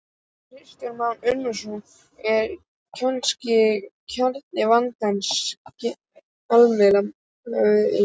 Kristján Már Unnarsson: Er kannski kjarni vandans gjaldmiðillinn?